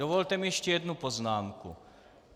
Dovolte mi ještě jednu poznámku.